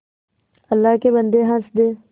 अल्लाह के बन्दे हंस दे